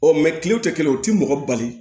kilew tɛ kelen ye u tɛ mɔgɔ bali